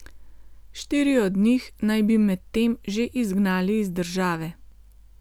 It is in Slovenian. Štiri od njih naj bi medtem že izgnali iz države.